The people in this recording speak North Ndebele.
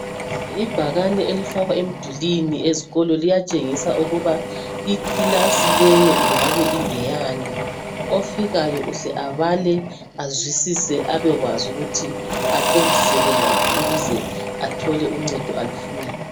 ibhakane elifakwa emdulini ezikolo liyatshengisa ukuba ikilasi leyo ingabe ingeyani ofikayo uhle abale azwisise abe kwazi ukuthi aqondiseke ngaphi ukuze athole uncedo alufunayo